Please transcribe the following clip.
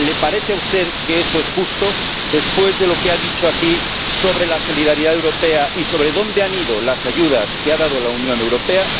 ¿Le parece a usted que eso es justo, después de lo que ha dicho aquí sobre la solidaridad europea y sobre dónde han ido las ayudas que ha dado la Unión Europea?